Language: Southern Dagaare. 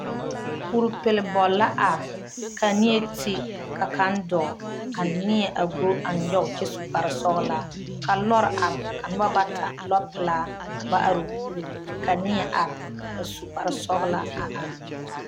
Kuripil bol la arẽ ka neɛ te ka kang dou ka neɛ a gɔ a nyuge a kye su kpare sɔglaa ka lɔɔre arẽ ka nuba bata lɔɔ pelaa ka ba arẽ ɔ poɔre ka neɛ a arẽ a su kpare sɔglaa a arẽ.